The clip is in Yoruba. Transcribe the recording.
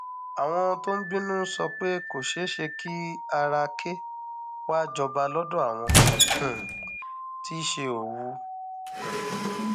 àwọn tó ń bínú sọ pé kò ṣeé ṣe kí ara àkè wàá jọba lọdọ àwọn um tí í ṣe òwú um